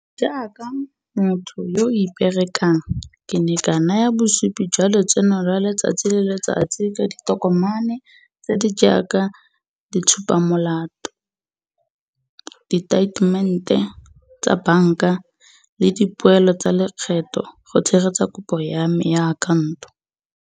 Jaaka motho yo o iperekang ke ne ka naya bosupi jwa lotseno lwa letsatsi le letsatsi ka ditokomane tse di jaaka ditshupa molato, diteitemente tsa banka le dipoelo tsa lekgetho go tshegetsa kopo ya me ya akhaonto.